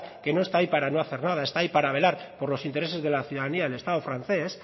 que no está ahí para no hacer nada está ahí para velar por los intereses de la ciudadanía del estado francés